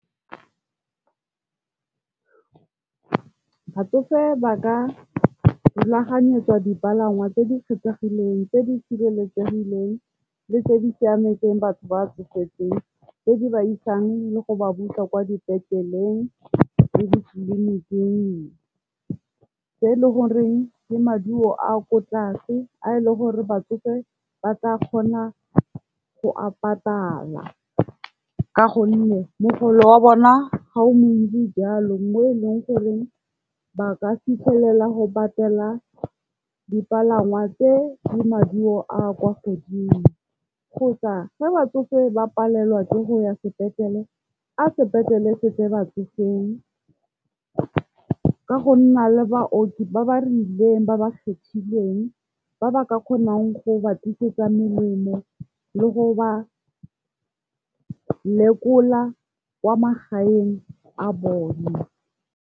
Batsofe ba ka rulaganyetswa dipalangwa tse di kgethegileng, tse di sireletsegileng le tse di siametseng batho ba tsofetseng. Tse di ba isang le go ba busa kwa dipetleleng le ditleliniking. Tse e le goreng ke maduo a ko tlase a e leng gore batsofe ba ka kgona go a patala ka gonne mogolo wa bona ga o montsi jalo mo e leng gore ba ka fitlhelela go patela dipalangwa tse di maduo a a kwa godimo. Kgotsa ge batsofe ba palelwa ke go ya sepetlele, a sepetlele setle batsofeng ka go nna le baoki ba ba rileng ba ba kgethilweng, ba ba ka kgonang go ba tlisetsa melemo le go ba lekola kwa magaeng a bone.